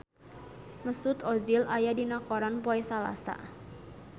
Mesut Ozil aya dina koran poe Salasa